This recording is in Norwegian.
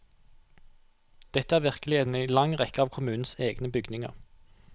Dette er virkeligheten i en lang rekke av kommunens egne bygninger.